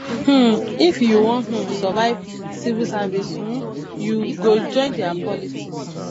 um if you wan um survive civil service you um go join their politics